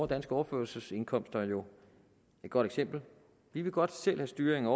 danske overførselsindkomster jo et godt eksempel vi vil godt selv have styr